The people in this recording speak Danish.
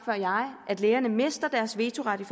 at lægerne mister deres vetoret i